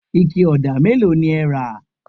ike òdà mélòó ni ẹ rà?